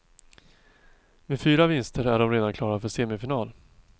Med fyra vinster är de redan klara för semifinal.